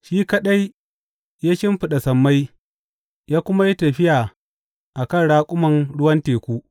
Shi kaɗai ya shimfiɗa sammai ya kuma yi tafiya a kan raƙuman ruwan teku.